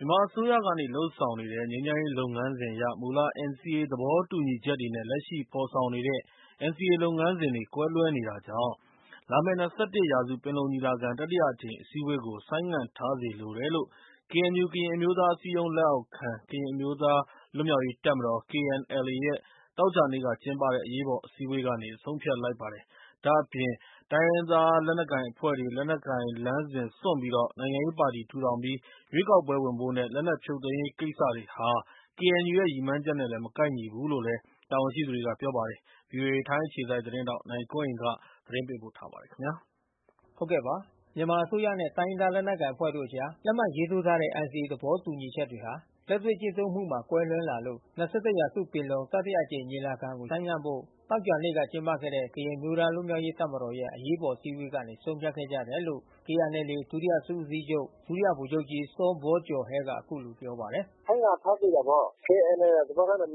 မြန်မာအစိုးရကနေ လုပ်ဆောင်နေတဲ့ ငြိမ်းချမ်းရေးလုပ်ငန်းစဉ်အရ မူလ NCA သဘောတူညီချက်တွေနဲ့ လက်ရှိ ဖေါ်ဆောင်နေတဲ့ NCA လုပ်ငန်းစဉ်တွေ ကွဲလွှဲနေတာကြောင့် လာမဲ့၂၁ ရာစု ပင်လုံညီလာခံ တတိယအကြိမ် အစည်းအဝေးကို ဆိုင်းငံထားစေလိုတယ်လို့ KNU - ကရင်အမျိုးသားအစည်းအရုံး လက်အောက်ခံ ကရင်အမျိုးသားလွတ်မြောက်ရေးတပ်မတော် - KNLA ရဲ့ သောကြာနေ့က ကျင်းပတဲ့ အရေးပေါ်အစည်းအဝေးကနေ ဆုံးဖြတ်ခဲ့ပါတယ်။ ဒါ့အပြင်တိုင်းရင်းသား လက်နက်ကိုင်အဖွဲ့တွေ လက်နက်ကိုင်လမ်းစဉ် စွန့်ပြီးတော့ နိုင်ငံရေးပါတီ ထူထောင်ပြီး ရွေးကောက်ပွဲဝင်ဖို့နဲ့ လက်နက်ဖြုတ်သိမ်းရေးကိစ္စတွေဟာ KNU ရဲ့ရည်မှန်းချက်နဲ့ မကိုက်ညီဘူးလို့လည်း တာဝန်ရှိ သူတွေကပြောပါတယ်။ ထိုင်းအခြေစိုက် ဗွီအိုအေ မြန်မာပိုင်း သတင်းထောက် နိုင်ကွန်းအိန် က သတင်းပေးပို့ထားပါတယ်။ အစိုးရနဲ့ တိုင်းရင်းသားလက်နက်ကိုင်အဖွဲ့တို့အကြား လက်မှတ်ရေးထိုးထားတဲ့ NCA သဘောတူညီချက်တွေ လက်တွေ့ကျင့်သုံးမှုမှာ ကွဲလွဲလာလို့ ၂၁ ရာစုပင်လုံ တတိယအကြိမ်ညီလာခံကို ဆိုင်းငံဖို့ သောကြာနေ့က ကျင်းပခဲ့တဲ့ ကရင်အမျိုးသားလွတ်မြောက်ရေးတပ်မတော်ရဲ့ အရေးပေါ်အစည်းအဝေးကနေ ဆုံးဖြတ်ခဲ့ကြတယ်လို့ KNLA ဒုတိယ စစ်ဦးစီးချုပ် ဒုတိယဗိုလ်ချုပ်ကြီး စောဘောကျော်ဟဲ က အခုလိုပြောပါတယ်။ “ဆိုင်းငံ့ထားသင့်တာပေါ့။ အခြေအနေ သဘောထား မကိုက်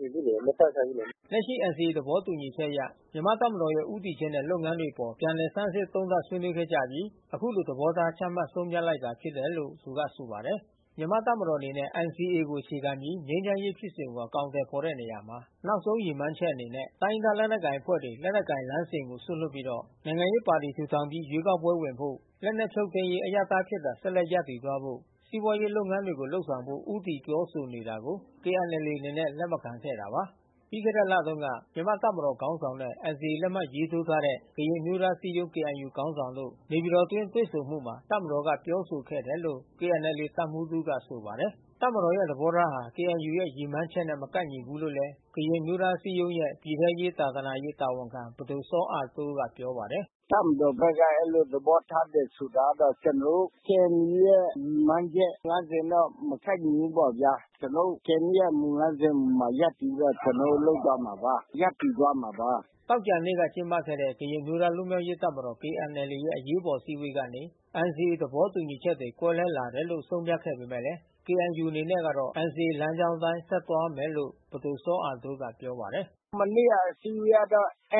ညီဘူးလေ။ မတိုက်ဆိုင်ဘူးလေ။” လက်ရှိ NCA သဘောတူညီချက်အရ မြန်မာ့တပ်မတော်ရဲ့ ဦးတည်ချက်နဲ့ လုပ်ငန်းတွေအပေါ် ပြန်လည်ဆန်းစစ် သုံးသပ် ဆွေးနွေးခဲ့ကြပြီး ယခုလို သဘောထား ချမှတ် ဆုံးဖြတ်လိုက်ခြင်း ဖြစ်တယ်လို့လည်း သူကဆိုပါတယ်။ မြန်မာ့တပ်မတော်အနေနဲ့ NCA ကို အခြေခံပြီး ငြိမ်းချမ်းရေးဖြစ်စဉ်ကို အကောင်အထည်ဖော် ဆောင်ရွက်ရာမှာ နောက်ဆုံး ရည်မှန်းချက်အနေနဲ့ တိုင်းရင်းသားလက်နက်ကိုင်အဖွဲ့တွေ လက်နက်ကိုင်လမ်းစဉ်စွန့်ပြီးတော့ နိုင်ငံရေးပါတီ ထူထောင် ရွေးကောက်ပွဲဝင်ဖို့ လက်နက်ဖြုတ်သိမ်းရေး အရပ်သားအဖြစ်သာ ဆက်လက်ရပ်တည်သွားဖို့ စီးပွားရေး လုပ်ငန်းလုပ်ဆောင်ဖို့ ကို ဦးတည် ပြောဆိုနေတာကို KNLA အနေနဲ့ လက်မခံခဲ့တာပါ။ ပြီးခဲ့တဲ့လတုန်းက မြန်မာ့တပ်မတော်ခေါင်းဆောင်နဲ့ NCA လက်မှတ်ရေးထိုးထားတဲ့ ကရင်အမျိုးသားအစည်းအရုံး KNU ခေါင်းဆောင်တို့ နေပြည်တော်တွေ့ဆုံမှုအတွင်း တပ်မတော်ဘက်က ပြောဆိုခဲ့တယ်လို့ KNLA တပ်မှူးတဦးက ဆိုပါတယ်။ တပ်မတော်ရဲ့သဘောထားဟာ KNU ရဲ့ရည်မှန်းချက်နဲ့ မကိုက်ညီဘူးလို့လည်း ကရင်အမျိုးသားအစည်းအရုံးရဲ့ ပြည်ထဲရေး၊ သာသနာရေးတာဝန်ခံ ပဒိုစောအားတိုးကပြောပါတယ်။ “တပ်မတော်ဘက်က အဲဒီလို သဘောထားတယ်ဆိုတာကတော့ ကျွန်တော်တို့ KNU ရဲ့ရည်မှန်းချက်လမ်းစဉ်တော့ မကိုက် ညီဘူးပေါ့။ ကျွန်တော်တို့ KNU ရဲ့ မူ ၅ ချက်အပေါ်မှာ ရပ်တည်ပြီးတော့လုပ်သွားမှာပါ။ ရပ်တည်သွားမှာပါ။” မနေ့ကကျင်းပခဲ့တဲ့ ကရင်အမျိုးသားလွတ်မြောက်ရေးတပ်မတော် - KNLA) ရဲ့ အရေးပေါ်အစည်းအဝေးကနေ NCA သဘောတူညီချက်တွေ ကွဲလွဲလာတယ်လို့ ဆုံးဖြတ်ခဲ့ပေမဲ့ KNU အနေနဲ့က NCA လမ်းကြောင်းအတိုင်းဆက်သွားမယ်လို့ ပဒိုစောအားတိုးကပြောပါတယ်။ “မနေ့ကအစည်းအဝေးက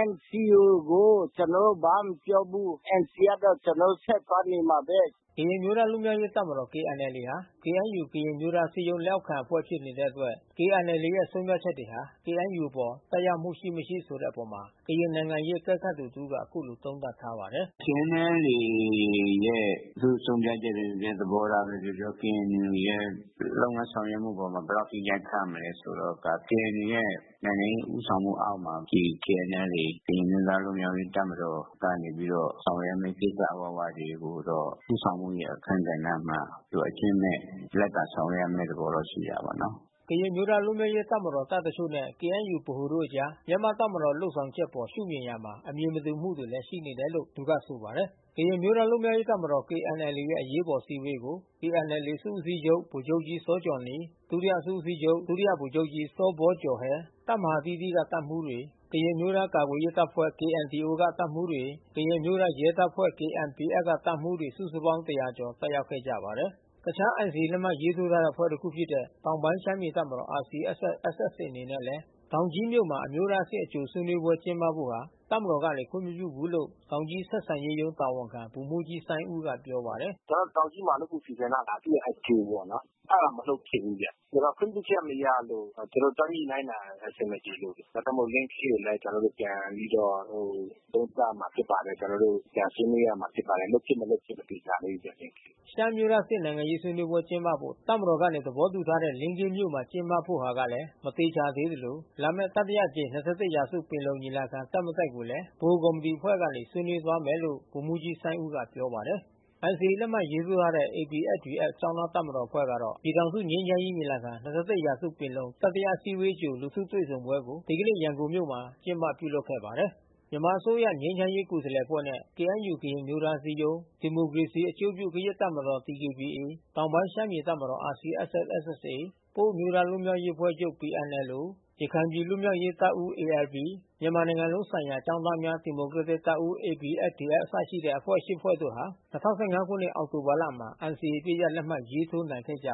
NCA ကိုကျွန်တော်တို့ ဘာမှမပြောဘူး။ NCA ကတော့ကျွန်တော်တို့ ဆက်သွားနေမှာဘဲ။” ကရင်အမျိုးသားလွတ်မြောက်ရေးတပ်မတော်- KNLA ဟာ KNU ကရင်အမျိုးသားအစည်းအရုံး လက်အောက်ခံအဖွဲ့ဖြစ် နေတဲ့အတွက် KNLA ရဲ့ ဆုံးဖြတ်ချက်တွေဟာ KNU အပေါ် သက်ရောက်နိုင်မှုရှိ မရှိဆိုတဲ့အပေါ် ကရင်နိုင်ငံရေးအကဲခတ်သူ တဦးက အခုလိုသုံးသပ်ထားပါတယ်။ “KNLA ရဲ့ ဆုံးဖြတ်ချက်ပဲပြောပြော သဘောထားပဲပြောပြော။ KNU ရဲ့လုပ်ငန်းဆောင်ရွက်မှု အပေါ်ဘယ်လောက်အထိ ရိုက်ခတ်မလဲဆိုတော့ KNU ရဲ့ နိုင်ငံရေး ဦးဆောင်မှုအောက်မှာ ဒီ KNLA ကရင်အမျိုးသားကာကွယ်ရေးတပ်မတော် ကနေ ပြီးတော့ ဆောင်ရွက်ရမယ့် ကိစ္စအ၀၀တွေကိုတော့ ဦးဆောင်မှုရဲ့ အခန်းကဏ္ဍမှာ သူကအကြွင်းမဲ့ လိုက်ပါဆောင်ရွက်ရမယ့် သဘောရှိတာပေါ့နော်။” ကရင်အမျိုးသားလွတ်မြောက်ရေးတပ်မတော်တပ်တချို့နဲ့ KNU ဗဟို အကြား မြန်မာ့တပ်မတော်လုပ်ဆောင်ချက်အပေါ် ရှုမြင်ရာမှာ အမြင်မတူမှုတွေ ရှိနေတယ်လို့လည်း သူကပြောပါတယ်။ ကရင်အမျိုးသားလွတ်မြောက်ရေးတပ်မတော် - KNLA ရဲ့ အရေးပေါ်အစည်းအဝေးကို - KNLA စစ်ဦးစီးချုပ်ဗိုလ်ချုပ်ကြီး စောဂျော်နီ၊ ဒုတိယစစ်ဦးစီးချုပ် ဒုတိယဗိုလ်ချုပ်ကြီး စောဘောကျော်ဟဲ၊ တပ်မဟာအသီးသီးကတပ်မှူးတွေ ကရင်အမျိုးသား ကာကွယ်ရေးတပ်ဖွဲ့ - KNDO က တပ်မှူးတွေ ကရင်အမျိုးသားရဲတပ်ဖွဲ့ - KNPF က တပ်မှူးတွေ စုစုပေါင်း ၁၀၀ ကျော် တက်ရောက်ခဲ့ကြပါတယ်။ တခြား NCA လက်မှတ်ရေးထိုးထားတဲ့အဖွဲ့တခုဖြစ်တဲ့ တောင်ပိုင်းရှမ်းပြည်တပ်မတော် - RCSS/SSA အနေနဲ့လည်း တောင်ကြီးမြို့မှာ အမျိုးသားအဆင့် အကြိုဆွေးနွေးပွဲကျင်းပဖို့ဟာ တပ်မတော်ကနေခွင့်မပြုဘူးလို့ တောင်ကြီးဆက်ဆံရေးရုံး တာဝန်ခံဗိုလ်မှူးကြီး စိုင်းဦး က ပြောပါတယ်။ “ကျွန်တော်တို့ တောင်ကြီးမှာလုပ်ဖို့ စီစဉ်ထားတာ သူ့ရဲ့အကြိုပေါ့နော်။ အဲတာမလုပ်ဖြစ်ဘူး။ ခွင့်ပြုချက်မရလို့ ကျွန် တော်တို့ သွားညှိနှိုင်းတာ အဆင်မပြေလို့။ ဒါကြောင့်မို့ လင်းခေးကိုလည်း ပြန်ပြီးတော့သ ုံးသပ်ရမှာဖြစ်ပါတယ်။ ကျွန်တော်တို့ ပြန်ဆွေးနွေးရမှာ ဖြစ်ပါတယ်။ လုပ်ဖြစ် မလုပ်ဖြစ်မသေချာသေးဘူးပေါ့ လင်းခေးမှာ။” ရှမ်းအမျိုးသားအဆင့်နိုင်ငံရေးဆွေးနွေးပွဲကျင်းပဖို့ တပ်မတော်ကနေ သဘောတူထားတဲ့လင်းခေးမြို့မှာ ကျင်းပဖို့ကလည်း မသေချာသေးသလို လာမယ့် တတိအကြိမ် ၂၁ ရာစုပင်လုံ ညီလာခံ တက် မတက်ကိုလည်း ဗဟိုကော်မီတီအဖွဲ့ကနေ ဆွေးနွေး သွားမယ်လို့ ဗိုလ်မှူးကြီး စိုင်းဦး က ပြောပါတယ်။ NCA လက်မှတ်ရေးထိုးထားတဲ့ ABSDF ကျောင်းသားတပ်မတော်အဖွဲ့ ကတော့ ပြည်ထောင်စုငြိမ်းချမ်းရေးညီလာခံ -၂၁ ရာစုပင်လုံ တတိယ အစည်းအဝေးအကြို လူထုတွေ့ဆုံပွဲကို ဒီကနေ့ ရန်ကုန်မြို့မှာ ကျင်းပပြုလုပ်ခဲ့ပါတယ်။ မြန်မာအစိုးရငြိမ်းချမ်းရေးကိုယ်စားလှယ်အဖွဲ့နဲ့ KNU - ကရင်အမျိုးသားအစည်းအရုံး ဒီမိုကရေစီအကျိုးပြုကရင့်တပ်မတော် - DKBA၊ တောင်ပိုင်းရှမ်းပြည်တပ်မတော် - RCSS/SSA၊ ပအိုဝ်းအမျိုးသားလွတ်မြောက်ရေးအဖွဲ့ချူပ် - PNLO၊ ရခိုင်ပြည်လွတ်မြောက်ရေးတပ်ဦး - ALP၊ မြန်မာနိုင်ငံလုံးဆိုင်ရာကျောင်းသားများဒီမိုကရက်တစ်တပ်ဦး - ABSDF အစရှိတဲ့ အဖွဲ့ ၈ ဖွဲ့တို့ဟာ ၂၀၁၅ခုနှစ် အောက်တိုဘာလမှာ NCA အပစ်ရပ်လက်မှတ် ရေးထိုးနိုင်ခဲ့ကြ